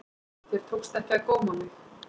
Þér tókst ekki að góma mig.